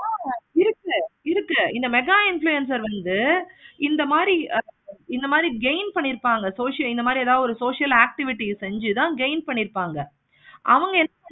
ஆஹ் இருக்கு. இருக்கு. இந்த mega influencers வந்து இந்த மாதிரி gain பண்ணிருப்பாங்க. இந்த மாதிரி social activity செஞ்சி தான் gain பண்ணிருப்பாங்க. அவங்க என்ன